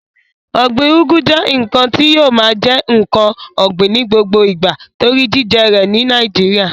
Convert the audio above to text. Ọ̀gbin ugu jẹ́ ǹkan tí yóò máa jẹ́ ǹkan ògbìn ní gbogbo ìgbà torí jíjẹ rẹ̀ ní nàìjíría